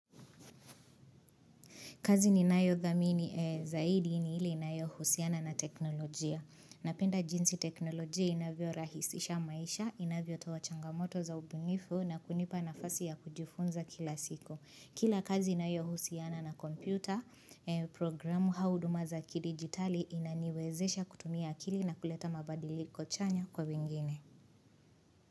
Kazi ni nayo dhamini zaidi ni ili nayo husiana na teknolojia. Napenda jinsi teknolojia inavyo rahisisha maisha, inavyo toa changamoto za ubunifu na kunipa na fasi ya kujifunza kila siku Kila kazi inayo husiana na kompyuta, programu hauduma za ki digitali inaniwezesha kutumia akili na kuleta mabadiliko kuchanya kwa bingine.